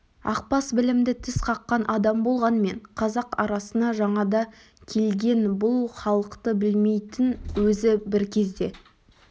ақбас білімді тіс қаққан адам болғанмен қазақ арасына жаңада келген бұл халықты білмейтін өзі бір кезде